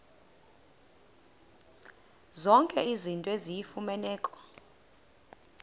zonke izinto eziyimfuneko